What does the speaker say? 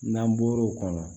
N'an bɔr'o kɔnɔ